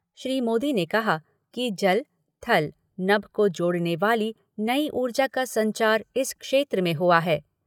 श्री मोदी ने कहा कि जल, थल, नभ को जोड़ने वाली नई ऊर्जा का संचार इस क्षेत्र में हुआ है।